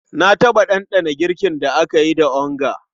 Na taɓa ɗanɗana girkin da aka yi da onga.